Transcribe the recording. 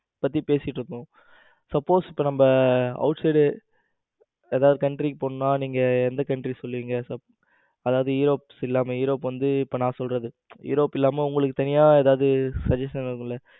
பத்தி பேசிட்டு இருக்கோம். suppose நம்ம இப்ப out side ஏதாவது country க்கு போகணும்னா நீங்க எந்த country சொல்லுவீங்க அதாவது europe இல்லாம இப்ப நான் சொல்றது europe உங்களுக்கு தனியா ஏதாவது suggestion இருக்கும்ல